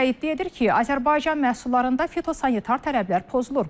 Rusiya iddia edir ki, Azərbaycan məhsullarında fitosanitar tələblər pozulur.